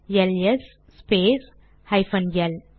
LS space hyphen L